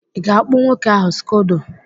ị ga-akpụ nwoke ahụ skodo?